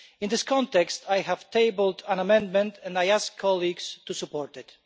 In this context, I have tabled an amendment and I ask colleagues to support it.